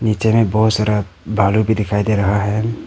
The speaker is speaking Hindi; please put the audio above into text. निचे में बहुत सारा भलु भी दिखाई दे रहा है।